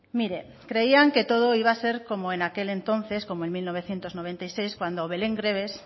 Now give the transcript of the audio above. mire creían que todo iba a ser como en aquel entonces como en mil novecientos noventa y seis cuando belén greaves